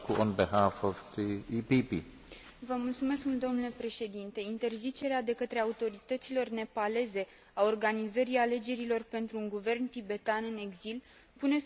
Interzicerea de către autoritățile nepaleze a organizării alegerilor pentru un guvern tibetan în exil pune sub semnul întrebării situația drepturilor omului în acest stat.